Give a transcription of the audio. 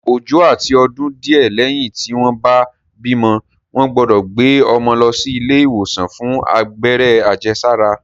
Ọjọ́ àti ọdún díẹ̀ lẹ́yìn tí wọ́n bá bímọ, wọ́n gbọ́dọ̀ gbé ọmọ lọ sí ilé ìwòsàn fún abẹ́rẹ́ àjẹsára